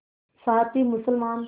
साथ ही मुसलमान